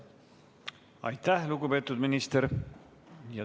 Aitäh, lugupeetud minister!